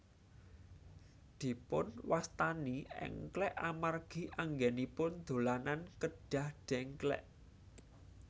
Dipunwastani èngklèk amargi anggènipun dolanan kedah dèngklèk